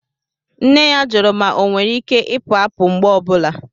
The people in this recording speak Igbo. Nne ya jụrụ ma ọnwere Ike Ipu àpu mgbe ọ bụla